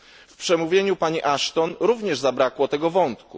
W przemówieniu pani Ashton również zabrakło tego wątku.